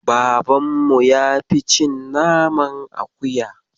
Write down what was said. Babanmu ya fi cin naman akuya.